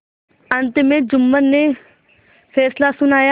अंत में जुम्मन ने फैसला सुनाया